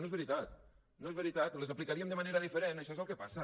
no és veritat no és veritat les aplicaríem de manera diferent això és el que passa